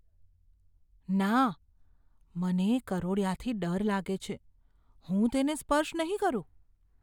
ના! મને કરોળિયાથી ડર લાગે છે. હું તેને સ્પર્શ નહીં કરું.